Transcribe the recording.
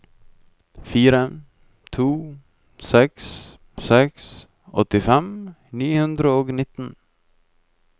fire to seks seks åttifem ni hundre og nitten